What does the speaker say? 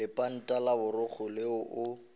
lepanta la boraro leo o